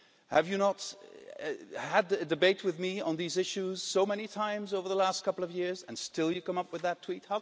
Have you not had a debate with me on these issues so many times over the last couple of years, and still you come up with that tweet?